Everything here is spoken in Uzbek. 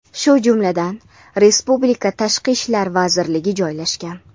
shu jumladan respublika Tashqi ishlar vazirligi joylashgan.